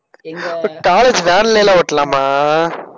ஓ college van லாம் ஒட்டலாமா